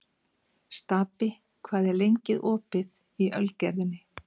Stapi, hvað er lengi opið í Ölgerðinni?